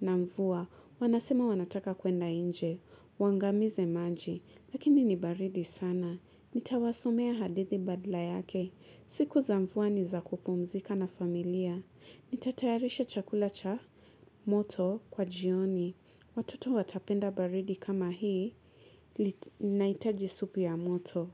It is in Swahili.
Na mvua, wanasema wanataka kuenda inje, waangamize maji, lakini ni baridi sana, nitawasomea hadithi badla yake, siku za mvua ni za kupumzika na familia, nitatayarisha chakula cha moto kwa jioni, watoto watapenda baridi kama hii, naitaji supu ya moto.